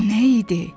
Bu nə idi?